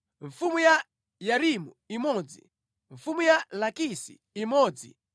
mfumu ya Yarimuti imodzi mfumu ya Lakisi imodzi